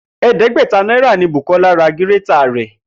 È̩é̩dé̩gbè̩ta náírà ni Bùkó̩lá ra gírétà rè̩